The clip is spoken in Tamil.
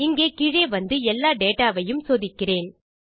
இங்கே கீழே வந்து எல்லா டேட்டா வையும் சோதிக்கிறேன்